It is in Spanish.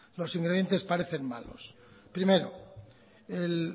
los ingredientes parecen malos primero el